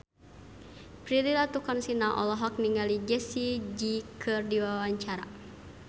Prilly Latuconsina olohok ningali Jessie J keur diwawancara